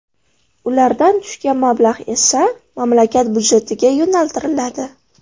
Ulardan tushgan mablag‘ esa mamlakat byudjetiga yo‘naltiriladi.